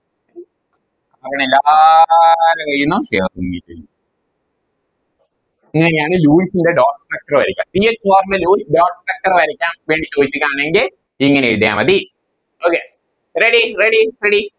അങ്ങനെ എല്ലാരെ കയ്യിന്നും അങ്ങനെയാണ് ലൂയിസിൻറെ Dot structure വരക്ക ഇനി normally ഒരു Dot structure വരക്കാൻ വേണ്ടി ചോയിക്കയാണെങ്കിൽ ഇങ്ങനെ എഴുതിയ മതി Okay ready ready ready